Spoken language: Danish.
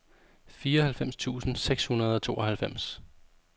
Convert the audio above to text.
fireoghalvfems tusind seks hundrede og tooghalvfems